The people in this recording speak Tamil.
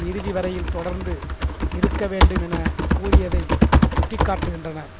இறுதிவரையில் தொடர்ந்து இருக்கவேண்டும் எனக்கூறியதைச் சுட்டி காட்டுகின்றனர்